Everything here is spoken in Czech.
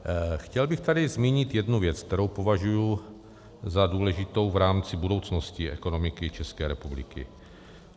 Chtěl bych tady zmínit jednu věc, kterou považuji za důležitou v rámci budoucnosti ekonomiky České republiky.